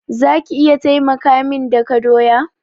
Za ki iya taimaka min daka doya?